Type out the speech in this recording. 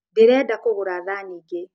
Ndĩrenda kũgũra thani ingĩ.